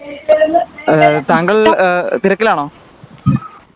ഏഹ് താങ്കൾ തിരക്കിലാണോ